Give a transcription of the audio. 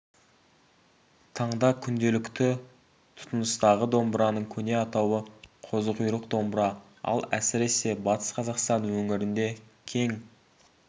таңда күнделікті тұтыныстағы домбыраның көне атауы қозы құйрық домбыра ол әсіресе батыс қазақстан өңірінде кең